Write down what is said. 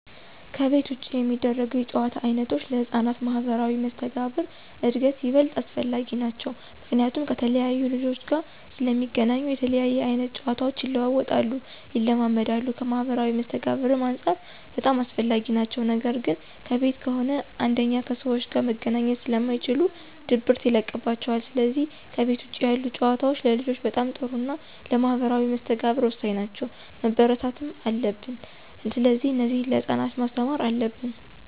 ከቤት ውጭ የሚደረጉ የጨዋታ ዓይነቶች ለሕፃናት ማኅበራዊ መስተጋብር እድገት ይበልጥ አስፈላጊ ናቸዉ። ምክንያቱም ከተለያየ ልጆች ጋር ስለሚገናኙ የተለያየ አይነት ጨዋታቸው ይለዋወጣሉ፣ ይለማመዳሉ ከማህበራዊ መስተጋብርም አንፃር በጣም አስፈላጊ ናቸው ነገር ግን ከቤት ከሆነ አንደኛ ከሰዎች ጋር መገናኘት ስለማይችሉ ድብርት ይለቅባቸዋል ስለዚህ ከቤት ውጭ ያሉ ጨዋታዎች ለልጆች በጣም ጥሩና ለማህበራዊ መስተጋብር ወሳኝ ናቸው፣ መበረታታት አለብን። ስለዚህ እነዚህን ለህፃናት ማስተማር አለብን።